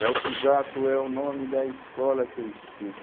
Léo Pisato é o nome da escola que eu estudo.